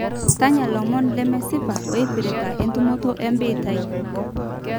tanya ilomon lemesipa ooipirta entumoto ebiitia